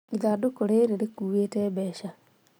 Ithandũkũ rĩrĩ rĩkuĩte mbeca